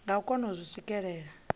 nga kona u zwi swikelela